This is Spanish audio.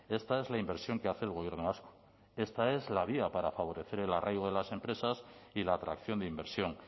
esta es la inversión que hace el gobierno vasco esta es la vía para favorecer el arraigo de las empresas y la atracción de inversión